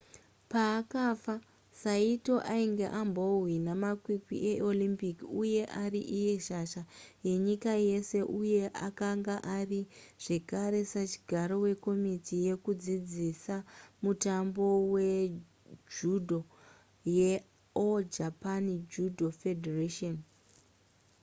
paakafa saito ainge ambohwina makwikwi eolympic uye ari iye shasha yenyika yese uye akanga ari zvekare sachigaro wekomiti yekudzidzisa mutambo wejudo yeall japan judo federation